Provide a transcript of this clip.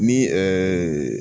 Ni